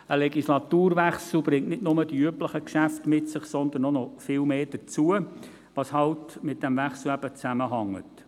Der Legislaturwechsel bringt nicht nur die üblichen Geschäfte mit sich, sondern es kommt vieles mehr hinzu, das eben mit dem Wechsel zusammenhängt.